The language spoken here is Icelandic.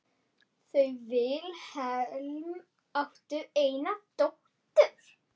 Þau Vilhelm áttu eina dóttur.